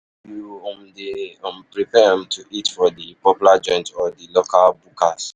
You um dey um prefer um to eat for di popular joints or di local bukas?